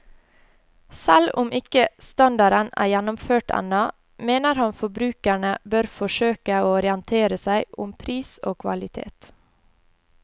Selv om ikke standarden er gjennomført ennå, mener han forbrukerne bør forsøke å orientere seg om pris og kvalitet.